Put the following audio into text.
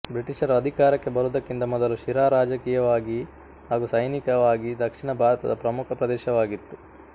ಬ್ರಿಟಿಷರು ಅಧಿಕಾರಕ್ಕೆ ಬರುವುದಕ್ಕಿಂತ ಮೊದಲು ಶಿರಾ ರಾಜಕೀಯವಾಗಿ ಹಾಗು ಸೈನಿಕವಾಗಿ ದಕ್ಷಿಣ ಭಾರತದ ಪ್ರಮುಖ ಪ್ರದೇಶವಾಗಿತ್ತು